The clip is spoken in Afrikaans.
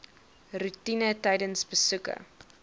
roetine tydens besoeke